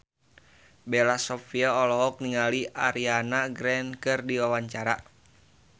Bella Shofie olohok ningali Ariana Grande keur diwawancara